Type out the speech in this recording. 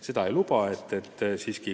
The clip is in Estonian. Seda ei saa lubada.